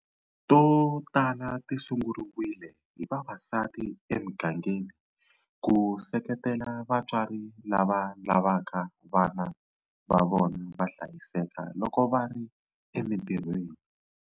To tala ti sunguriwile hi vavasati emigangeni ku seketela vatswari lava lavaka vana va vona va hlayiseka loko va ri emitirhiweni.